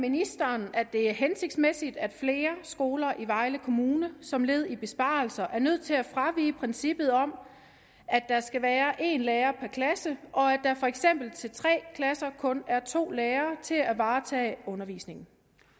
ministeren at det er hensigtsmæssigt at flere skoler i vejle kommune som led i besparelser er nødt til at fravige princippet om at der skal være en lærer per klasse og at der for eksempel til tre klasser kun er to lærere til at varetage undervisningen